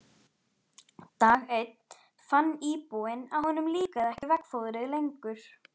Dag einn fann íbúinn að honum líkaði ekki veggfóðrið lengur.